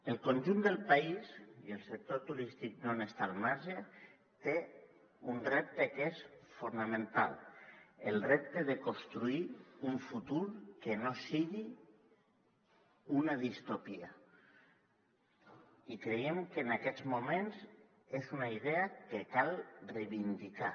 el conjunt del país i el sector turístic no n’està al marge té un repte que és fonamental el repte de construir un futur que no sigui una distòpia i creiem que en aquests moments és una idea que cal reivindicar